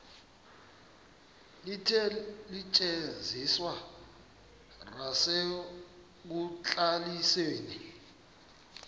likhe lisetyenziswe nasekubalisweni